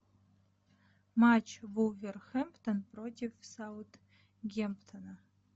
матч вулверхэмптон против саутгемптона